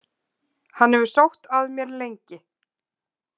Hann hefur sótt að mér lengi.